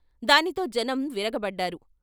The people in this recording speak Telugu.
దానితో జనం విరగబడ్డారు.